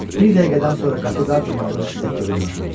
Bir dəqiqədən sonra qatı qar dumanının içində görünməz oldu.